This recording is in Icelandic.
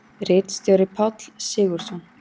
Ritstjóri Páll Sigurðsson.